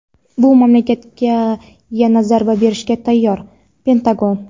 bu mamlakatga yana zarba berishga tayyor – Pentagon.